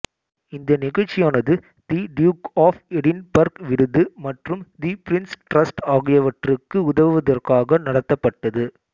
இந்த நிகழ்ச்சியானது the Duke of Edinburgh விருது மற்றும் தி பிரின்ஸ் ட்ரஸ்ட் ஆகியவற்றுக்கு உதவுவதற்காக நடத்தப்பட்டது